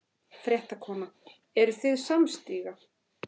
Fréttakona: Eruð þið samstíga?